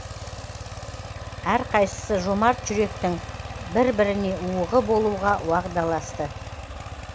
әрқайсысы жомарт жүректің бір бір уығы болуға уағдаласты